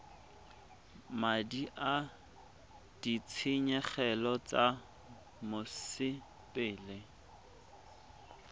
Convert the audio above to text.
madi a ditshenyegelo tsa mosepele